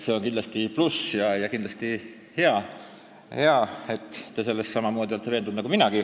See on kindlasti pluss ja kindlasti on hea, et te olete selles samamoodi veendunud nagu mina.